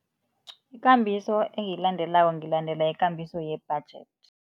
Ikambiso engiyilandelako, ngilandela ikambiso ye-budget.